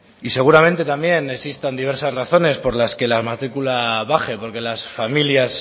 y seguramente también existan diversas razones por las que la matricula baje porque las familias